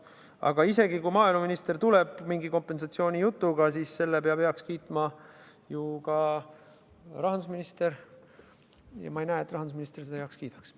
Aga isegi kui maaeluminister tuleb mingi kompensatsioonijutuga, siis selle peab heaks kiitma ju ka rahandusminister, ja ma ei arva, et rahandusminister seda heaks kiidaks.